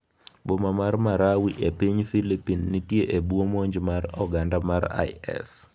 Boma mar Marawi e piny Filipin nitie e bwo monj mar oganda mar IS